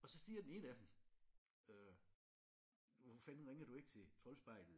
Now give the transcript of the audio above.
Og så siger den ene af dem øh hvorfor fanden ringer du ikke til Troldspejlet?